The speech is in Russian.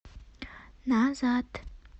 назад